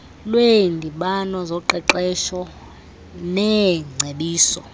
lweendibano zoqeqesho neengcebiso